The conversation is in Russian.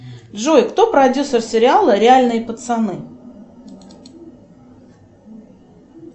джой кто продюсер сериала реальные пацаны